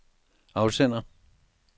afsender